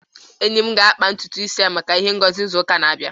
enyi m ga-akpa ntutu isi ya maka ihe ngosi n'izu na-abịa